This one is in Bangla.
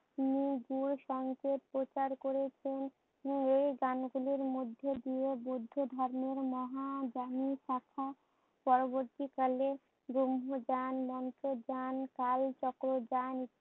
প্রচার করেছে। এই গান গুলির মধ্যে দিয়ে বৌদ্ধ মহান পরবর্তীকালে ব্রহ্মজান, মন্ত্রজান, কালচক্রজান